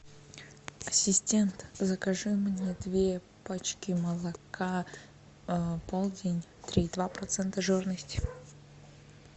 ассистент закажи мне две пачки молока полдень три и два процента жирности